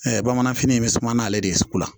bamananfini in bɛ suman n'ale de ye sugu la